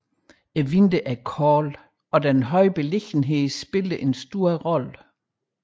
Vinteren er kold og den høje beliggenhed spiller en stor rolle